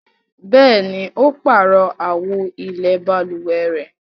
Bẹ̀ẹ́ni, ó páàrọ̀ àwo ilẹ̀ balùwẹ̀ rẹ.